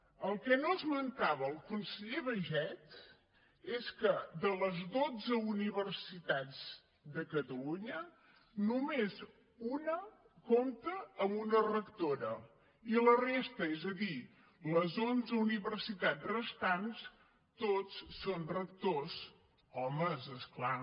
el que no esmentava el conseller baiget és que de les dotze universitats de catalunya només una compta amb una rectora i la resta és a dir les onze universitats restants tots són rectors homes és clar